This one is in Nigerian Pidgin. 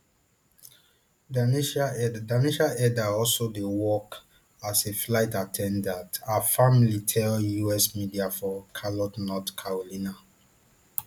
danasia elder danasia elder also dey work as a flight at ten dant her family tell us media for charlotte north carolina